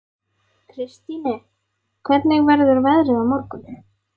Kristine, hvernig verður veðrið á morgun?